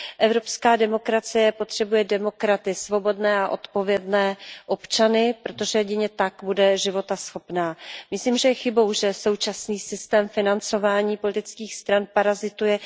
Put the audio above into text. Evropská demokracie potřebuje demokraty, svobodné a odpovědné občany, protože jedině tak bude životaschopná. Myslím, že je chybou, že současný systém financování politických stran parazituje.